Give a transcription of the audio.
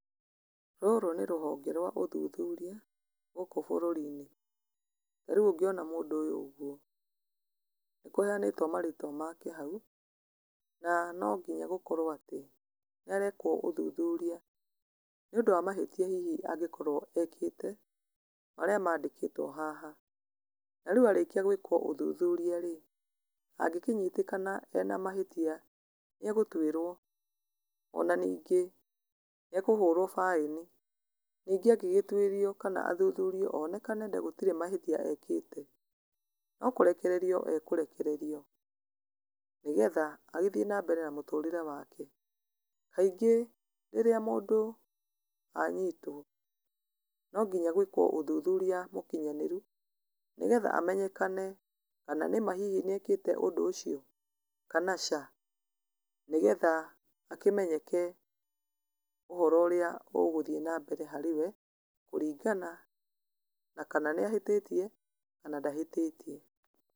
Rũrũ nĩ rũhonge rwa ũthuthuria gũkũ bũrũri-inĩ, narĩu ũngĩona mũndũ ũyũ ũguo, nĩ kũheyanĩtwo marĩtwa make hau, na nonginya gũkorwo atĩ, nĩarekwo ũthuthuria, nĩ ũndũ wa mahĩtia hihi angĩkorwo ekĩte, marĩa mandĩkitwo haha, na rĩu arĩkia gwĩkwo ũthũthũria rĩ, angĩkĩnyitĩkana ena mahĩtia nĩ egũtuĩrwo, ona ningĩ nĩekũhũrwo baĩni, ningĩ angĩgĩtuĩrio, kana athuthurio, onekana gũtiri mahĩtia ekĩte, no kũrekererio ekũrekererio nĩgetha agĩthiĩ na mbere na mũtũrĩre wake, kaingĩ rĩrĩa mũndũ anyitwo, nonginya gwĩkwo ũthuthuri mũkinyanĩru, nĩgetha amenyekane kana nĩma hihi nĩ ekĩte ũndũ ũcio, kana caa, nĩgetha akĩmenyeke ũhoro ũrĩa ũgũthiĩ na mbere harĩwe, kũringana na kana nĩahĩtĩtie, kana ndahĩtĩtie.